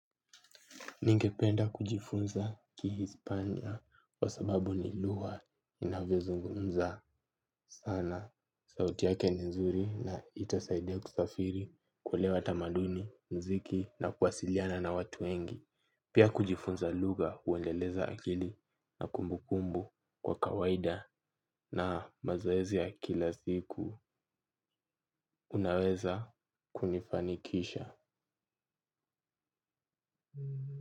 Ningependa kujifunza kihispania kwa sababu ni lugha inayozungumzwa sana. Sauti yake ni nzuri na itasaida kusafiri kuelewa tamaduni, muziki na kuwasiliana na watu wengi. Pia kujifunza lugha huendeleza akili na kumbukumbu kwa kawaida na mazoezi kila siku unaweza kunifanikisha.